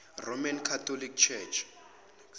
roman catholic church